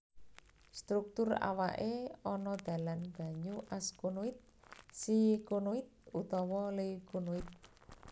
Struktur awake ana dalan banyu askonoid sikonoid utawa leukonoid